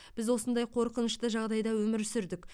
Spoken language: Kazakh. біз осындай қорқынышты жағдайда өмір сүрдік